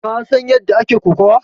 Ka san ƴanda ake ƙokawa?